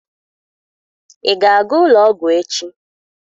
Ị ga-aga ụlọ ọgwụ echi?